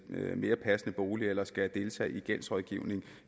mere passende bolig eller skal deltage i gældsrådgivning